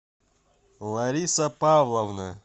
лариса павловна